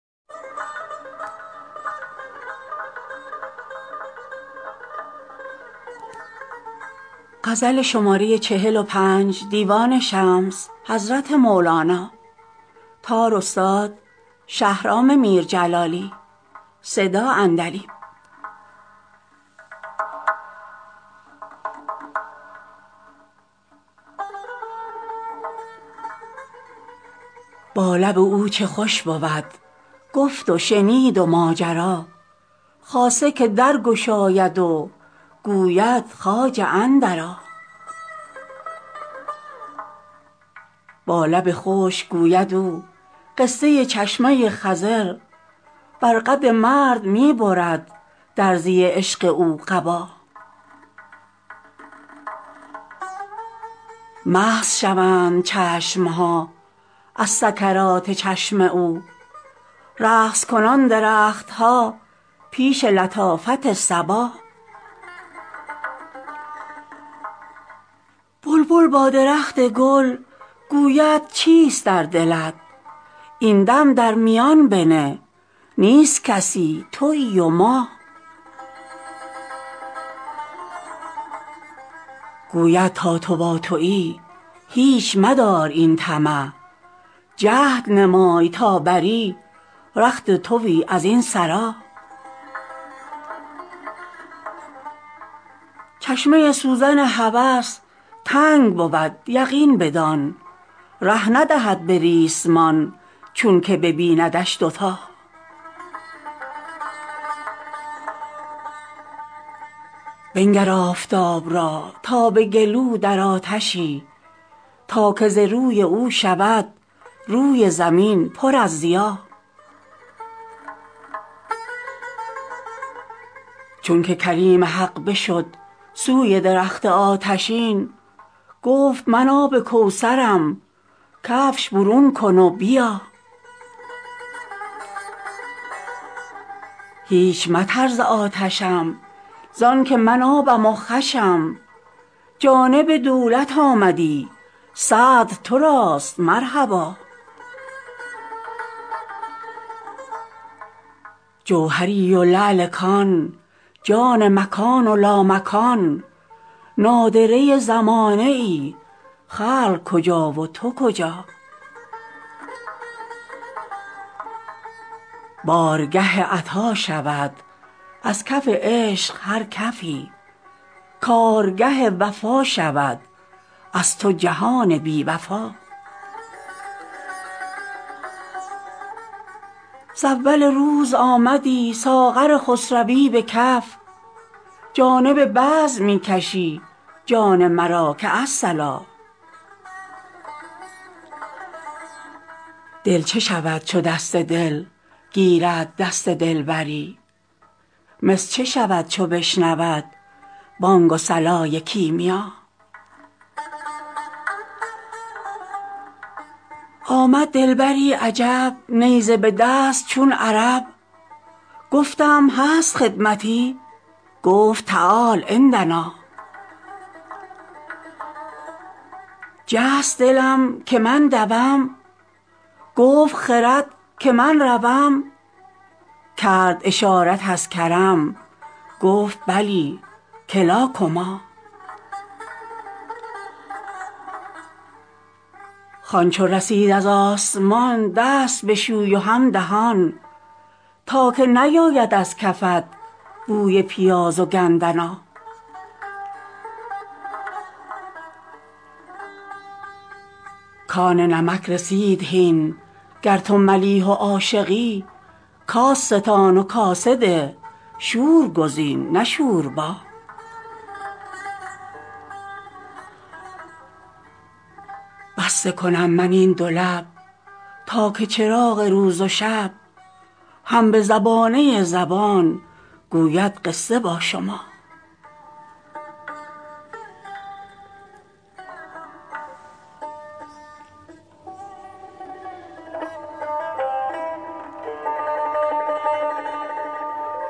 با لب او چه خوش بود گفت و شنید و ماجرا خاصه که در گشاید و گوید خواجه اندرآ با لب خشک گوید او قصه چشمه ی خضر بر قد مرد می برد درزی عشق او قبا مست شوند چشم ها از سکرات چشم او رقص کنان درخت ها پیش لطافت صبا بلبل با درخت گل گوید چیست در دلت این دم در میان بنه نیست کسی توی و ما گوید تا تو با توی هیچ مدار این طمع جهد نمای تا بری رخت توی از این سرا چشمه ی سوزن هوس تنگ بود یقین بدان ره ندهد به ریسمان چونک ببیندش دوتا بنگر آفتاب را تا به گلو در آتشی تا که ز روی او شود روی زمین پر از ضیا چونک کلیم حق بشد سوی درخت آتشین گفت من آب کوثرم کفش برون کن و بیا هیچ مترس ز آتشم زانک من آبم و خوشم جانب دولت آمدی صدر تراست مرحبا جوهریی و لعل کان جان مکان و لامکان نادره ی زمانه ای خلق کجا و تو کجا بارگه عطا شود از کف عشق هر کفی کارگه وفا شود از تو جهان بی وفا ز اول روز آمدی ساغر خسروی به کف جانب بزم می کشی جان مرا که الصلا دل چه شود چو دست دل گیرد دست دلبری مس چه شود چو بشنود بانگ و صلای کیمیا آمد دلبری عجب نیزه به دست چون عرب گفتم هست خدمتی گفت تعال عندنا جست دلم که من دوم گفت خرد که من روم کرد اشارت از کرم گفت بلی کلا کما خوان چو رسید از آسمان دست بشوی و هم دهان تا که نیاید از کفت بوی پیاز و گندنا کان نمک رسید هین گر تو ملیح و عاشقی کاس ستان و کاسه ده شور گزین نه شوربا بسته کنم من این دو لب تا که چراغ روز و شب هم به زبانه ی زبان گوید قصه با شما